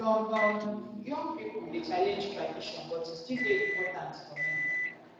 some um young pipo dey challenge tradition but e still dey important for many